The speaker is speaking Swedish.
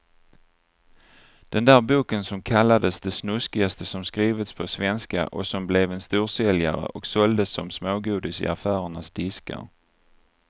Den där boken som kallades det snuskigaste som skrivits på svenska och som blev en storsäljare och såldes som smågodis i affärernas diskar.